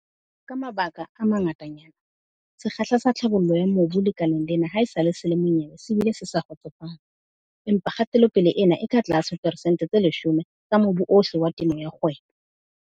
Ka mabaka a mangatanyana, sekgahla sa tlhabollo ya mobu lekaleng lena haesale le le monyebe le bile le sa kgotsofatse. Empa kgatelopele ena e ka tlase ho diperesente tse 10 ya mobu ohle wa temo ya kgwebo.